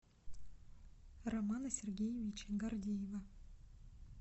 романа сергеевича гордеева